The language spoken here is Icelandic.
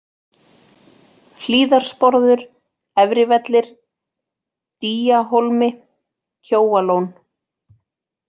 Hlíðarsporður, Efrivellir, Dýahólmi, Kjóalón